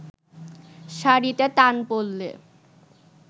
শাড়িতে টান পড়লে